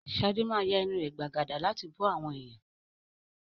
Shade máa ya ẹnu rẹ̀ gbàgàdà láti bú àwọn èèyàn